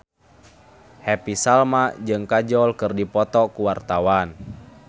Happy Salma jeung Kajol keur dipoto ku wartawan